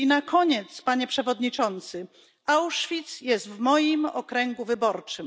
I na koniec, Panie Przewodniczący, Auschwitz jest w moim okręgu wyborczym.